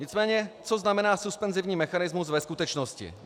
Nicméně co znamená suspenzivní mechanismus ve skutečnosti?